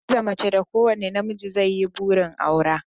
Hadiza mace da kowane namiji zai yi burin aura